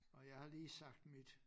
Og jeg har lige sagt mit